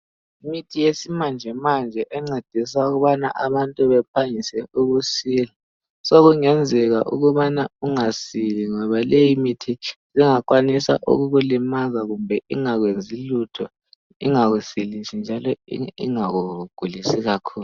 Imithi yesimanjemanje encedisa ukubana abantu bephangise ukusila sokungenzeka ukubana ungasili ngoba leyi mithi isingakwanisa ukukulimaza kumbe ingakwenzi lutho ingakusilisi njalo ingakugulisi kakhulu.